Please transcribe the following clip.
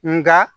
Nga